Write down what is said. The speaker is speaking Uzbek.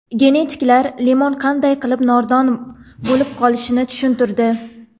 Genetiklar limon qanday qilib nordon bo‘lib qolishini tushuntirdi.